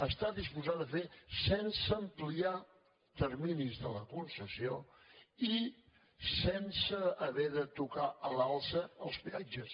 està disposada a fer·les sense ampliar terminis de la concessió i sense haver de tocar a l’alça els peatges